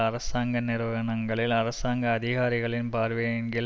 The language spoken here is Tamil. அரசாங்க நிறுவனங்களில் அரசாங்க அதிகாரிகளின் பார்வையின் கீழ்